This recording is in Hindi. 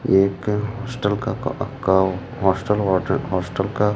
ये एक हॉस्टल का का का अ का हॉस्टल हॉट हॉस्टल का --